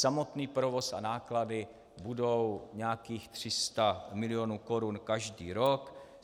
Samotný provoz a náklady budou nějakých 300 milionů korun každý rok.